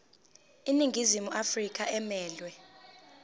iningizimu afrika emelwe